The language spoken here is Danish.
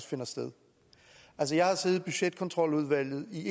finde sted altså jeg har siddet i budgetkontroludvalget i